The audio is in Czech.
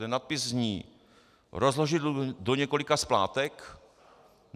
Ten nadpis zní: "Rozložit do několika splátek?